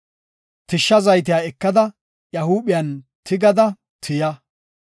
Tishsha zaytiya ekada iya huuphiyan tigada tiya.